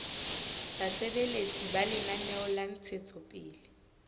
basebeletsi ba lenaneo la ntshetsopele